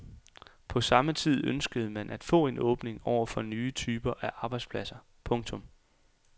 På samme tid ønskede man at få en åbning over for nye typer af arbejdspladser. punktum